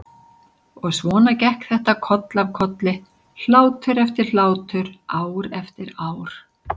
Og svona gekk þetta koll af kolli, hlátur eftir hlátur, ár eftir ár.